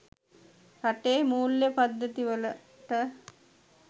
රටේ මූල්‍ය පද්ධති වලට